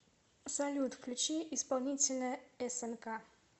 салют включи исполнителя эсэнка